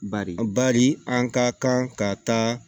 Bari bari an ka kan ka taa